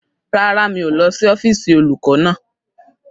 Rárá, mi ò lọ sí ọ́fíìsì olùkọ́ náà.